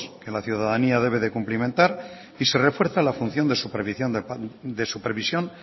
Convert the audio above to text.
que la ciudadanía debe cumplimentar y se refuerza la función de supervisión